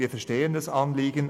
Wir verstehen das Anliegen;